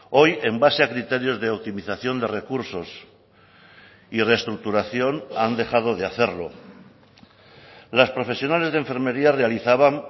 hoy en base a criterios de optimización de recursos y reestructuración han dejado de hacerlo las profesionales de enfermería realizaban